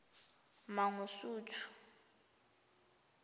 mangosuthu